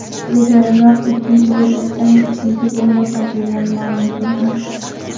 Ilgariroq ikkinchi bekatdan ikkinchi bomba topilgani ma’lum qilindi .